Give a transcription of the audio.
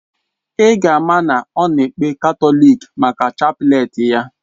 Ì ga ama na ọ na ekpe katọlik maka chapleti ya.